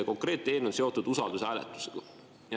Konkreetne eelnõu on seotud usaldushääletusega.